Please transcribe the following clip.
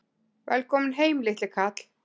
Velkominn heim, litli kall!